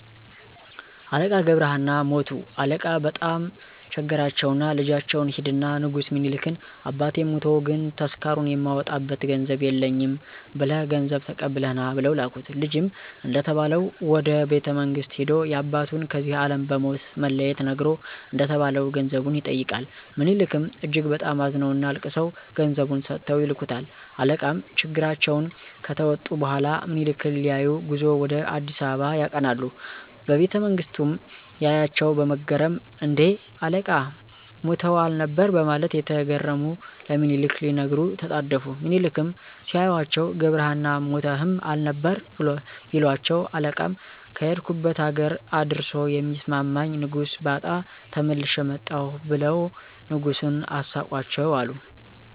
አለቃ ገብረ ሃና ሞቱ አለቃ በጣም ቸገራቸውና ልጃቸውን ሂድና ንጉስ ሚኒሊክን አባቴ ሞቶ ግን ተስካሩን የማወጣበት ገንዘብ የለኝም ብለህ ገንዘብ ተቀብለህ ና ብለው ላኩት። ልጅም እንደተባለው ወደ ቤተመንግስት ሂዶ ያባቱን ከዚህ አለም በሞት መለየት ነግሮ እንደተባለው ገንዘቡን ይጠይቃል። ምኒሊክም እጅግ በጣም አዝነውና አልቅሰው ገንዘቡን ሰጥተው ይልኩታል። አለቃም ችግራቸውን ከተወጡ በኋላ ምኒሊክን ሊያዪ ጉዞ ወደ አ.አ. ያቀናሉ። በቤተመንግስቱም ያያቸው በመገረም እን...ዴ? አለቃ ሞተው አልነበር በማለት እየተገረሙ ለምኒሊክ ሊነግሩ ተጣደፉ። ሚኒሊክም ሲያዩአቸው ገብረሀና ሞተህም አልነበር? ቢሏቸው አለቃም ከሄድኩበት አገር እንደርሶ የሚስማማኝ ንጉስ ባጣ ተመልሼ መጣሁ ብለው ንጉሱን አሳቋቸው አሉ።